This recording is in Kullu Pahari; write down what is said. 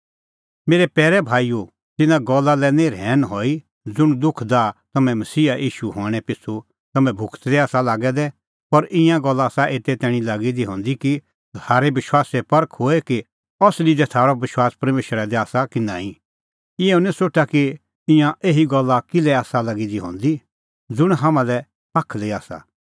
मेरै पैरै भाईओ तिन्नां गल्ला लै निं रहैन हई ज़ुंण दुख दाह तम्हैं मसीहा ईशूए हणैं पिछ़ू तम्हैं भुगतदै आसा लागै दै पर ईंयां गल्ला आसा एते तैणीं लागी दी हंदी कि थारै विश्वासे परख होए कि असली दी थारअ विश्वास परमेशरा दी आसा कि नांईं इहअ निं सोठा कि ईंयां एही गल्ला किल्है आसा लागी दी हंदी ज़ुंण हाम्हां लै पाखली आसा